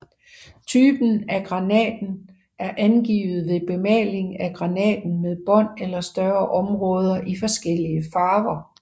Typen af granaten er angivet ved bemaling af granaten med bånd eller større områder i forskellige farver